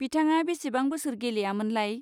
बिथाङा बेसेबां बोसोर गेलेयामोनलाय?